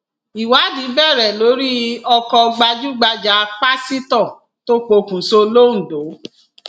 ìwádìí bẹrẹ lórí ọkọ gbajúgbajà pásítọ tó pokùṣọ londo